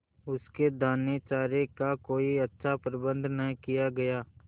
उसके दानेचारे का कोई अच्छा प्रबंध न किया गया